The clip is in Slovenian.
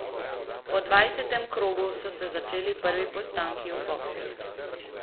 Po dvajsetem krogu so se začeli prvi postanki v bokskih.